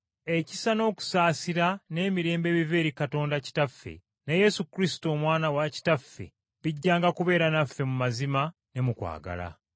Ekisa, n’okusaasira n’emirembe ebiva eri Katonda Kitaffe ne Yesu Kristo Omwana wa Kitaffe bijjanga kubeera naffe mu mazima ne mu kwagala.